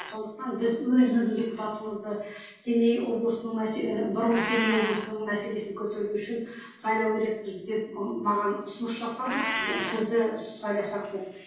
сондықтан біз өзіміздің депутатымызды семей облысының бұрынғы семей облысының мәселесін көтеру үшін сайлау керекпіз деп ы маған ұсыныс жасады сізді сайласақ деп